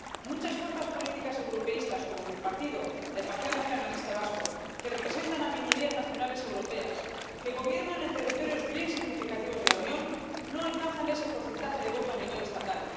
Muchas fuerzas políticas europeístas —como mi partido, el Partido Nacionalista Vasco—, que representan a minorías nacionales europeas, que gobiernan en territorios bien significativos de la Unión, no alcanzan ese porcentaje de voto a nivel estatal.